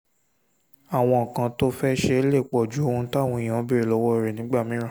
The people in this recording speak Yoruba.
àwọn nǹkan tó o fẹ́ ṣe lè pọ̀ ju ohun táwọn èèyàn ń béèrè lọ́wọ́ rẹ lọ nígbà mìíràn